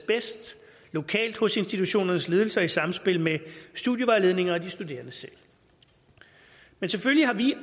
bedst lokalt hos institutionernes ledelse og i samspil med studievejledninger og de studerende selv men selvfølgelig har vi